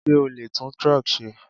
Sé o lè tún truck ṣe?